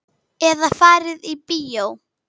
Eða fari í bíó.